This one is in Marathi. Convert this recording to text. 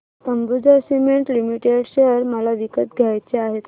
अंबुजा सीमेंट लिमिटेड शेअर मला विकत घ्यायचे आहेत